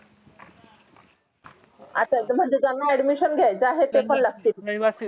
आणि जेव्हा admission घेयचा आहे paper लागतील